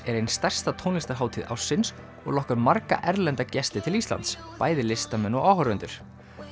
er ein stærsta tónlistarhátíð ársins og lokkar margra erlenda gesti til Íslands bæði listamenn og áhorfendur